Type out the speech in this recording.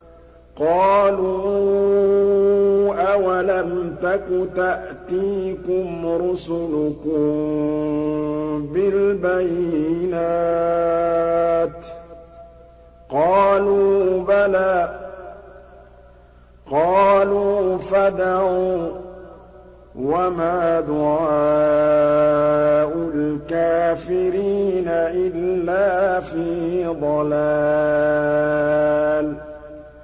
قَالُوا أَوَلَمْ تَكُ تَأْتِيكُمْ رُسُلُكُم بِالْبَيِّنَاتِ ۖ قَالُوا بَلَىٰ ۚ قَالُوا فَادْعُوا ۗ وَمَا دُعَاءُ الْكَافِرِينَ إِلَّا فِي ضَلَالٍ